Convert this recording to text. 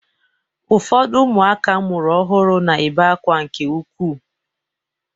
Ụfọdụ ụmụaka amụrụ ọhụrụ na-ebe akwa nke ukwuu.